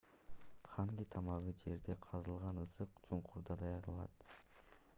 ханги тамагы жерде казылган ысык чуңкурда даярдалат